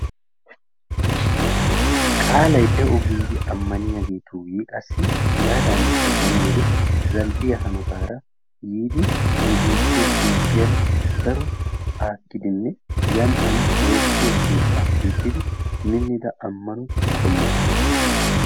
Qaalay de'o giidi ammaniyaagetun qassi hegaadanikka beni wode zal"iyaa hanootara yiidi nu biittee Toophphiyaan daro aakkidinee yaan haan woossiyoo keettaa keexxidi miinnida ammano qommo.